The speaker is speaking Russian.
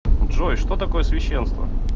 джой что такое священство